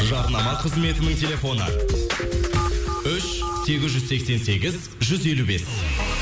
жарнама қызметінің телефоны үш сегіз жүз сексен сегіз жүз елу бес